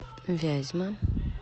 вязьма